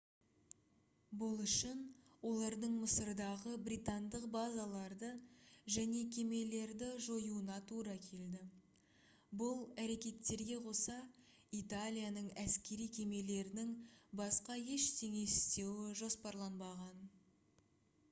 бұл үшін олардың мысырдағы британдық базаларды және кемелерді жоюына тура келді бұл әрекеттерге қоса италияның әскери кемелерінің басқа ештеңе істеуі жоспарланбаған